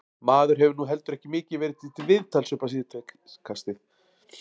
Maður hefur nú heldur ekki mikið verið til viðtals upp á síðkastið.